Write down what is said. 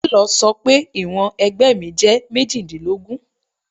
Telọ̀ sọ pé ìwọ̀n ẹ̀gbẹ́ mi jẹ́ méjìdínlógún.